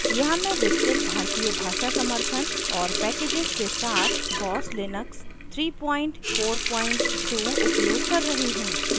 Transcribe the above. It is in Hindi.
यहाँ मैं विस्तृत भारतीय भाषा समर्थन और पैकेजेज़ के साथ boss लिनक्स 342 उपयोग कर रही हूँ